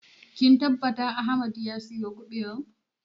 Kin tabbata Ahmed ya sayo ƙubewar?